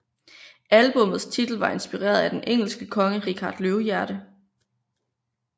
Albummets titel var inspireret af den engelske konge Richard Løvehjerte